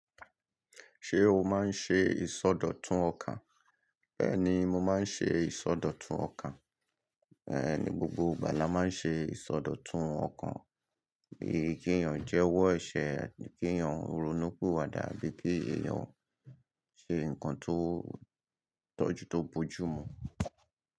Ṣé o máa ń ṣe ìsọdọ̀tun ọkàn? Bẹ́ẹ̀ni, mo máa ń ṣe ìsọdọ̀tun ọkàn. Ní gbogbo ìgbà la máa ń ṣe ìsọdọ̀tun ọkàn. Ki eeyàn jẹ́wọ́ ẹ̀ṣẹ̀ àbi kí eeyàn ronú piwàdà abí kí eeyàn ṣe nǹkan tó tọ́jú tó bójú mu.